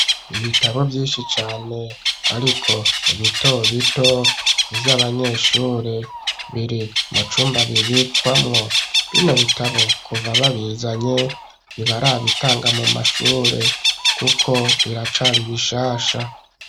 Ibitabo vyinshi cane, ariko bito bito, vy'abanyeshure, biri mu cumba bibikwamwo; bino bitabo, kuva babizanye, ntibarabitanga mu mashure, kuko biracari bishasha.